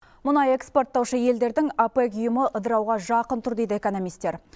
мұнай экспорттаушы елдердің опек ұйымы ыдырауға жақын тұр дейді экономистер